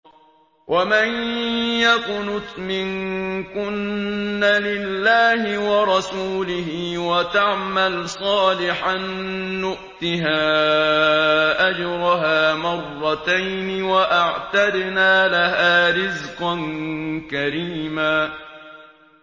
۞ وَمَن يَقْنُتْ مِنكُنَّ لِلَّهِ وَرَسُولِهِ وَتَعْمَلْ صَالِحًا نُّؤْتِهَا أَجْرَهَا مَرَّتَيْنِ وَأَعْتَدْنَا لَهَا رِزْقًا كَرِيمًا